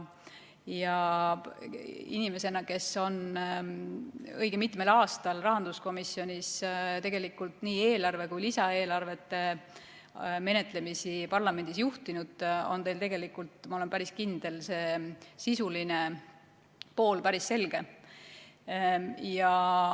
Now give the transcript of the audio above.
Inimesena, kes on õige mitmel aastal rahanduskomisjonis nii eelarve kui ka lisaeelarve menetlemist parlamendis juhtinud, on teil tegelikult, ma olen päris kindel, see sisuline pool päris selge.